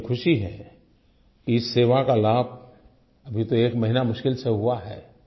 और मुझे ख़ुशी है कि इस सेवा का लाभ अभी तो एक महीना बड़ी मुश्किल से हुआ है